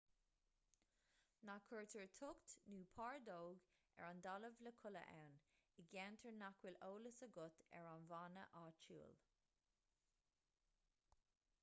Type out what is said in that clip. ná cuirtear tocht nó pardóg ar an talamh le codladh ann i gceantair nach bhfuil eolas agat ar an bhfána áitiúil